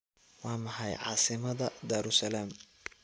Waa maxay caasimadda Daarusalaam?